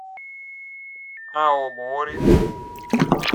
аомори